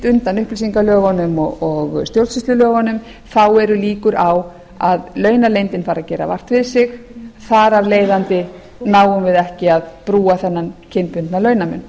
undan upplýsingalögum og stjórnsýslulögunum þá eru líkur á að launaleyndin fari að gera vart við sig þar af leiðandi náum við ekki að brúa þennan kynbundna launamun